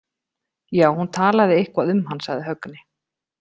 Já, hún talaði eitthvað um hann, sagði Högni.